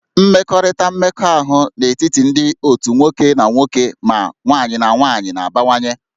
Mmekọrịta mmekọahụ n'etiti ndị otu nwoke na nwoke ma nwanyị na nwaanyị na-abawanye